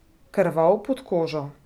Krvav pod kožo.